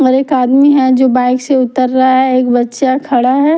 और एक आदमी है जो बाइक से उतर रहा है एक बच्चा खड़ा है।